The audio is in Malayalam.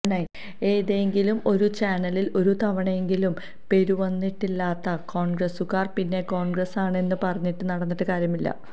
ഏതെങ്കിലും ഒരു ചാനലില് ഒരു തവണയെങ്കിലും പേരുവന്നിട്ടില്ലാത്ത കോണ്ഗ്രസ്സുകാര് പിന്നെ കോണ്ഗ്രസ്സാണെന്ന് പറഞ്ഞുനടന്നിട്ട് കാര്യമില്ല